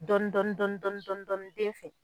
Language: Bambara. Dɔni dɔni dɔni dɔni den fɛ